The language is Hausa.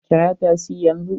Kira tasi yanzu!